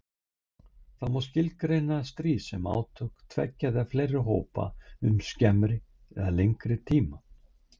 Það má skilgreina stríð sem átök tveggja eða fleiri hópa um skemmri eða lengri tíma.